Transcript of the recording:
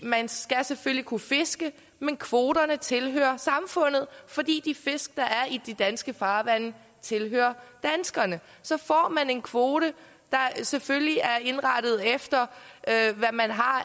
man skal selvfølgelig kunne fiske men kvoterne tilhører samfundet fordi de fisk der er i de danske farvande tilhører danskerne så får man en kvote der selvfølgelig er indrettet efter hvad man har